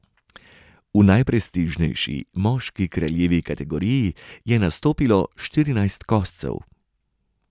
V najprestižnejši, moški kraljevi kategoriji je nastopilo štirinajst koscev.